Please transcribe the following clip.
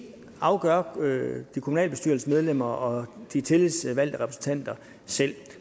afgør kommunalbestyrelsesmedlemmerne og de tillidsvalgte repræsentanter selv